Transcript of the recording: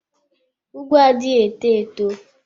Ùgwù adịghị eto eto.